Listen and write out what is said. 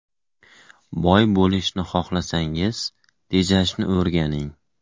Boy bo‘lishni xohlasangiz – tejashni o‘rganing.